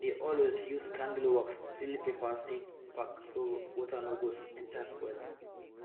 i dey always use candle wax seal paper seed pack so water no go enter spoil am